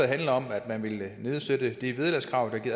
handler om at man vil nedsætte vederlagskravet i